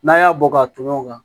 N'an y'a bɔ ka tɔmɔ o kan